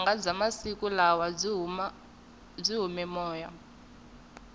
vunanga bya masiku lawa byi hume moya